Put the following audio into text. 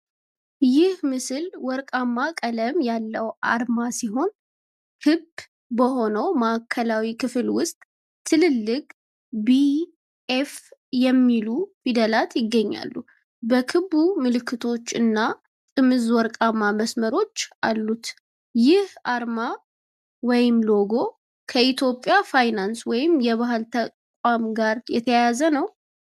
ይህ ምስል ወርቃማ ቀለም ያለው አርማ ሲሆን፣ ክብ በሆነው ማዕከላዊ ክፍል ውስጥ ትልልቅ BF የሚሉ ፊደላት ይገኛሉ። በክቡ ምልክቶች እና ጥምዝ ወርቃማ መስመሮች አሉት። ይህ አርማ (ሎጎ) ከኢትዮጵያ ፋይናንስ ወይም ከባህል ተቋም ጋር የተያያዘ ነውን?